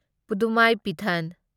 ꯄꯨꯙꯨꯃꯥꯢꯄꯤꯊꯥꯟ